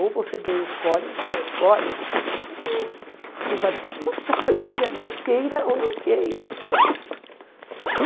Ou você bem escolhe, ou você bem escolhe, ou você participa, ou você não participa, mas você está sendo governado, queira ou não queira.